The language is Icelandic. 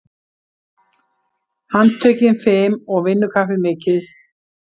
Handtökin fim og vinnukappið mikið.